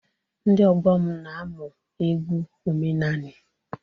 Ndị ọgbọ m na-amụ egwu omenanị.